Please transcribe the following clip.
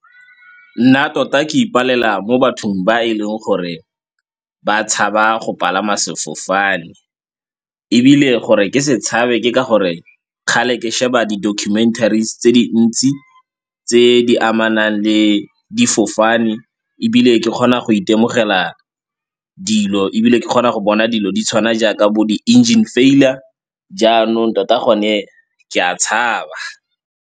Nna tota ke ipalela mo bathong ba e leng gore ba tshaba go palama sefofane ebile gore ke se tshabe ke ka gore kgale ke sheba di-documentaries tse dintsi tse di amanang le difofane ebile ke kgona go itemogela dilo, ebile ke kgona go bona dilo di tshwana jaaka bo di-engine failure jaanong tota gone ke a tshaba.